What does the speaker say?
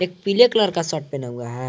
पीले कलर का शर्ट पहना हुआ है।